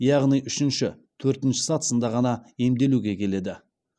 яғни үшінші төртінші сатысында ғана емделуге келеді